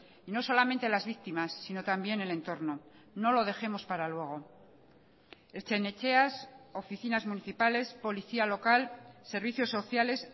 y no solamente las víctimas sino también el entorno no lo dejemos para luego ertzain etxeas oficinas municipales policía local servicios sociales